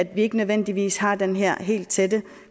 vi ikke nødvendigvis har den her helt tætte